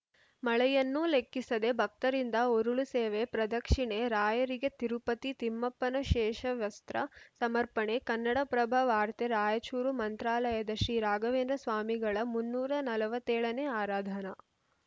ಮಳೆಯನ್ನೂ ಲೆಕ್ಕಿಸದೇ ಭಕ್ತರಿಂದ ಉರುಳುಸೇವೆ ಪ್ರದಕ್ಷಿಣೆ ರಾಯರಿಗೆ ತಿರುಪತಿ ತಿಮ್ಮಪ್ಪನ ಶೇಷವಸ್ತ್ರ ಸಮರ್ಪಣೆ ಕನ್ನಡಪ್ರಭ ವಾರ್ತೆ ರಾಯಚೂರು ಮಂತ್ರಾಲಯದ ಶ್ರೀರಾಘವೇಂದ್ರ ಸ್ವಾಮಿಗಳ ಮುನ್ನೂರ ನಲವತ್ತ್ ಏಳನೇ ಆರಾಧನಾ